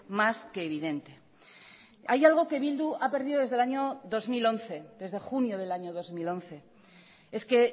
más que evidente hay algo que bildu ha perdido desde el año dos mil once desde junio del año dos mil once es que